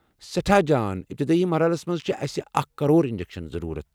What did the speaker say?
سٮ۪ٹھاہ جان ابتدٲئی مرحلس منز چھِ اسہِ اکھ کرور انجیکشن ضروُرت